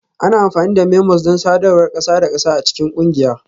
Ana amfani da memos don sadarwar ƙasa da ƙasa a cikin ƙungiya